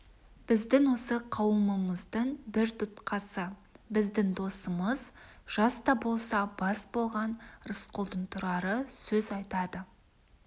біздің осы қауымымыздың бір тұтқасы біздің досымыз жас та болса бас болған рысқұлдың тұрары сөз айтады